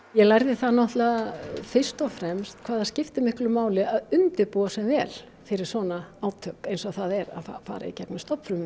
ég lærði það náttúrulega fyrst og fremst hvað það skiptir máli að undirbúa sig vel fyrir svona átök eins og það er að fara í gegnum